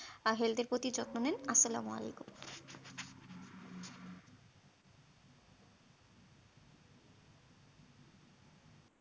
আর health এর প্রতি যত্ন নিন আস্সালামুআলাইকুম